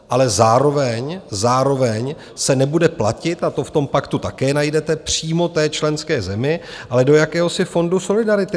Ale zároveň se nebude platit, a to v tom paktu také najdete, přímo té členské zemi, ale do jakéhosi fondu solidarity.